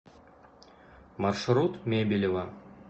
маршрут мебелево